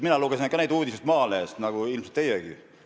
Mina lugesin ka neid uudiseid Maalehest nagu ilmselt teiegi.